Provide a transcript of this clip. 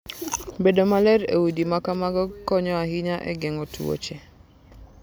Bedo maler e udi ma kamago konyo ahinya e geng'o tuoche.